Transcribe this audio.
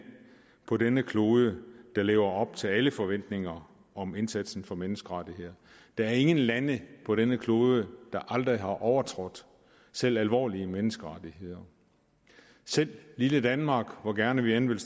på denne klode der lever op til alle forventninger om indsatsen for menneskerettigheder der er ingen lande på denne klode der aldrig har overtrådt selv alvorlige menneskerettigheder selv lille danmark hvor gerne vi end vil